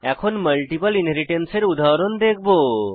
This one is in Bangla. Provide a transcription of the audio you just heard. এখন মাল্টিপল ইনহেরিট্যান্স এর উদাহরণ দেখব